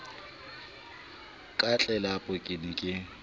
ka tlelapa ke ne ke